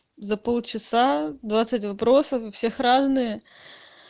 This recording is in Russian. за полчаса двадцать вопросов у всех разные